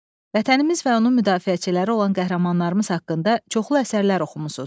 Vətənimiz və onun müdafiəçiləri olan qəhrəmanlarımız haqqında çoxlu əsərlər oxumusunuz.